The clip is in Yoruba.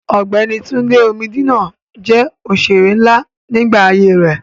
Ọ̀gbẹ́ni Túndé Omídínà jẹ́ òṣèré nlá nígbà ayé rẹ̀